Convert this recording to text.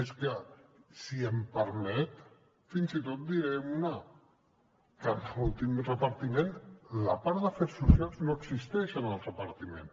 és que si m’ho permet fins i tot en diré una que en l’últim repartiment la part d’afers socials no existeix en el repartiment